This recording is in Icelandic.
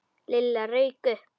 Lilla rauk upp.